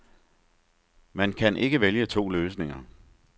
Man kan ikke vælge to løsninger.